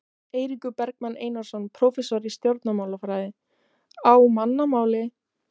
Eiríkur Bergmann Einarsson, prófessor í stjórnmálafræði: Á mannamáli?